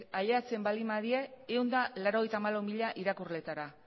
ailegatzen baldin badira ehun eta laurogeita hamalau mila irakurleetara